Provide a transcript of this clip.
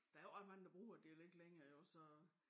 Der jo ikke ret mnage der bruger dialekt længere jo så